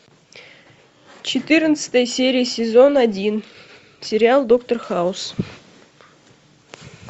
четырнадцатая серия сезон один сериал доктор хаус